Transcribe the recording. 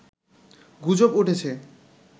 গুজব উঠেছে